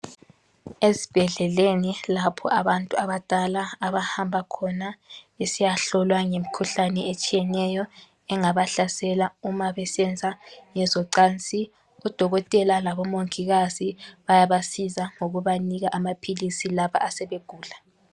Esibhedleleni lapho abantu abadala abahamba besiya hlolwa ngemikhuhlane etshiyeneyo engabahlasela uma besenza ngezocansi udokotela laboongikazi bayabasiza ngokubanika amaphilisi labo asebegula .